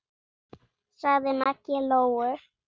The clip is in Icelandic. sagði Maggi Lóu.